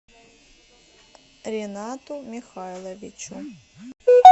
ринату михайловичу